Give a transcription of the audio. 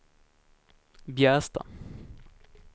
Bjästa